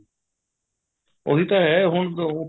ਉਹੀ ਤਾਂ ਹੈ ਹੁਣ